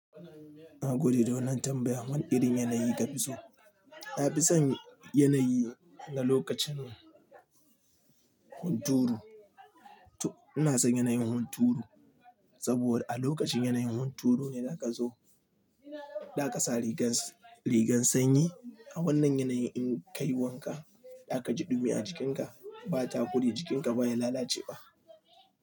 Na gode don tambayar. Wane irin yanayi ka fi so? Na fi son yanayi na lokacin hunturu. To ina son yanayin hunturu saboda a lokacin yanayin hunturu ne za ka zo, za ka sa rigar, rigar sanyi. A wannan yanayi in ka yi wanka, za ka ji ɗumi a jikinka, ba ta kure jikinka ba, ya lalace ba.